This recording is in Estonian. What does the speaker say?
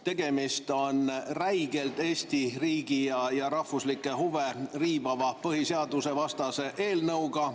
Tegemist on räigelt Eesti riigi ja rahvuslikke huve riivava põhiseadusevastase eelnõuga.